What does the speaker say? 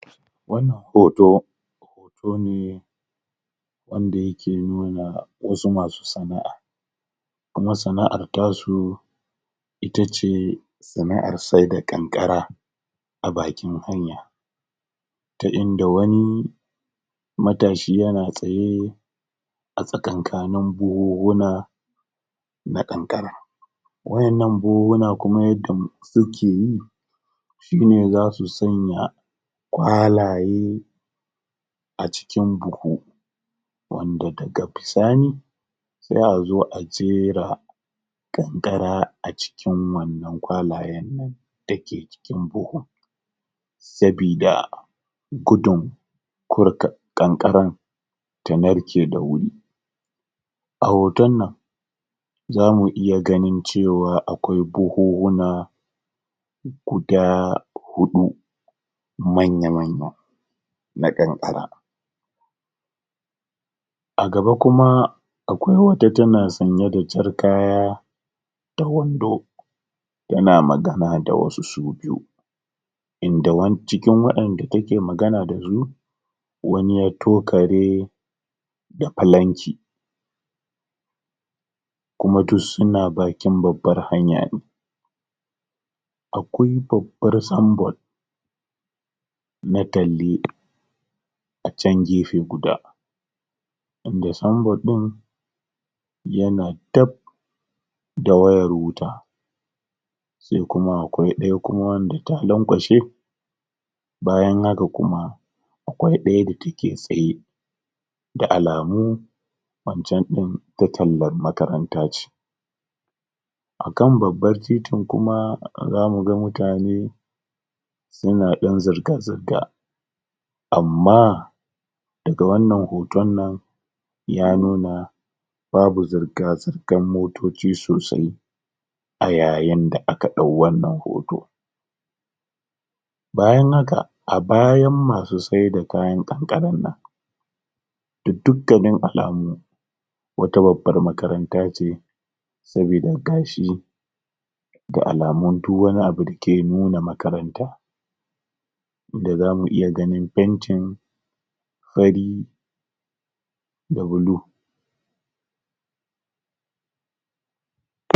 wannan hoto hoto ne wanda yake nuna wasu masu sana'a kuma sana'ar tasu itace sana'ar seda ƙanƙara a bakin hanya ta inda wani matashi yana tsaye a tsakankanin buhuhuna na ƙanƙara waƴannan buhuhuna kuma yanda suke yi shine zasu sanya kwalaye a cikin buhu wanda daga bisani se a zo a jera ƙanƙara a cikin wannan kwalayen nan dake cikin buhun sabida gudun um ƙanƙaran ta narke da wuri a hoton nan zamu iya ganin cewa akwai buhuhuna guda huɗu manya manya na ƙanƙara agaba kuma akwai wata tana sanye da jar kaya da wando tana magana da wasu su biyu inda um cikin wanda take magana dasu wani ya tukare da falanki kuma duk suna bakin babbar hanya ne akwai babbar symbol na talle a can gefe guda wanda symbol ɗin yana dab da wayar wuta se kuma akwai ɗaya wanda ta lanƙwashe bayan haka kuma akwai ɗaya da take tsaye da alamu wancan din ta tallan makaranta ce akan babbar titin kuma za muga mutane suna ɗan zirga zirga amma daga wannan hoton nan ya nuna babu zirga zirgar motoci sosai a yayin da aka ɗau wannan hoto bayan haka a bayan masu saida kayan ƙanƙarar nan ga dukkanin alamu wata babbar makaranta ce sabida gashi ga alamon duk wani abu dake nuna makaranta wanda zamu iya ganin fentin fari da bulu